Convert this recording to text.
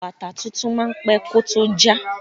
Bàtà tuntun máa pẹ́ kó tó já.